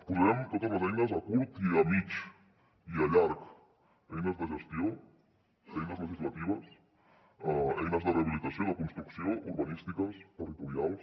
posarem totes les eines a curt i a mitjà i a llarg eines de gestió eines legislatives eines de rehabilitació de construcció urbanístiques territorials